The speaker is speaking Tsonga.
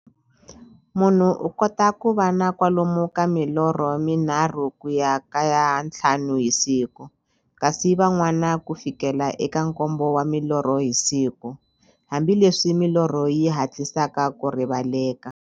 Munhu u kota ku va na kwalomu ka milorho mi nharhu ku ya ka ya nthlanu hi siku, kasi van'wana ku fikela eka nkombo wa milorho hi siku, hambileswi milorho yi hatlisaka ku rivaleka.